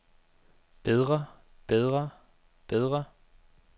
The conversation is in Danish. bedre bedre bedre